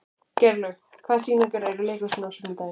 Geirlaug, hvaða sýningar eru í leikhúsinu á sunnudaginn?